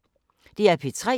DR P3